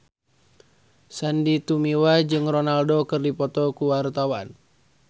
Sandy Tumiwa jeung Ronaldo keur dipoto ku wartawan